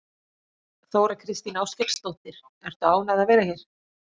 Þóra Kristín Ásgeirsdóttir: Ertu ánægð að vera hér?